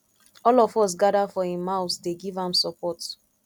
all of us gather for im house dey give am support